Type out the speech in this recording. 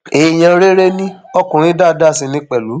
èèyàn rere ni ọkùnrin dáadáa sì ní pẹlú